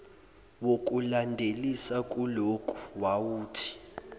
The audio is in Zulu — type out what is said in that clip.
wokulandelisa kuloku wawuthi